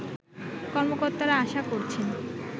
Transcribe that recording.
কর্মকর্তারা আশা করছেন